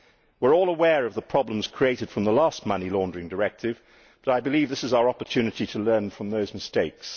We are all aware of the problems created by the last money laundering directive, but I believe this is our opportunity to learn from those mistakes.